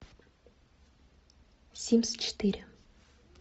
симс четыре